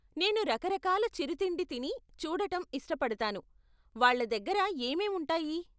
నేను రకరకాల చిరుతిండి తిని చూడటం ఇష్టపడతాను, వాళ్ళ దగ్గర ఏమేం ఉంటాయి?